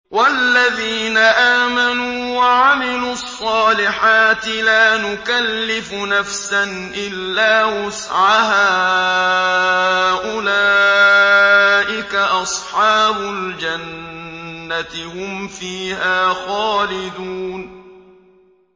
وَالَّذِينَ آمَنُوا وَعَمِلُوا الصَّالِحَاتِ لَا نُكَلِّفُ نَفْسًا إِلَّا وُسْعَهَا أُولَٰئِكَ أَصْحَابُ الْجَنَّةِ ۖ هُمْ فِيهَا خَالِدُونَ